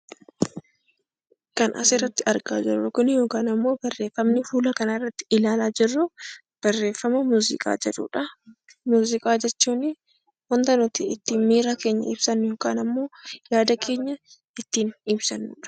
Kan asirratti argaa jirru, yookaan immoo barreeffamni fuula kana irratti ilaalaa jirru, barreeffama muuziqaa jedhudha. Muuziqaa jechuun waanta nuti miira keenya ibsannu yookaan immoo yaada keenya ittiin ibsannudha.